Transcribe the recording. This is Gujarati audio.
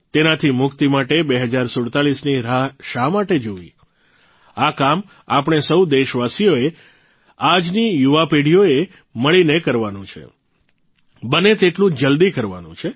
તેનાથી મુક્તિ માટે ૨૦૪૭ની રાહ શા માટે જોવી આ કામ આપણે સૌ દેશવાસીઓએ આજની યુવાપેઢીએ મળીને કરવાનું છે બને તેટલું જલ્દી કરવાનું છે